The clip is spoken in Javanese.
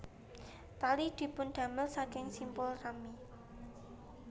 Tali dipundamel saking simpul rami